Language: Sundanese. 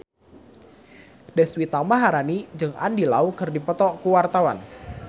Deswita Maharani jeung Andy Lau keur dipoto ku wartawan